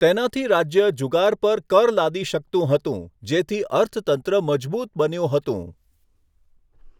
તેનાથી રાજ્ય જુગાર પર કર લાદી શકતું હતું, જેથી અર્થતંત્ર મજબૂત બન્યું હતું.